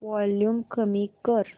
volume कमी कर